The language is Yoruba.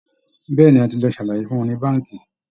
Bẹ́ẹ̀ ni, a ti lọ ṣàlàyé fún wọn ní báǹkì